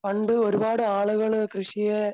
പണ്ട് ഒരുപാട് ആളുകള് കൃഷിയെ